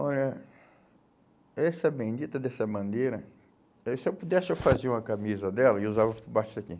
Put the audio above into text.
Olha, essa bendita dessa bandeira, eh se eu pudesse eu fazia uma camisa dela, eu usava por baixo daqui.